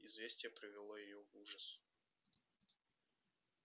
известие привело её в ужас